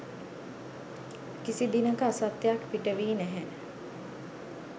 කිසි දිනක අසත්‍යයක් පිටවී නැහැ.